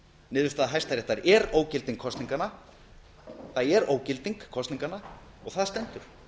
niðurstaða hæstaréttar er ógilding kosninganna það er ógilding kosninganna og það stendur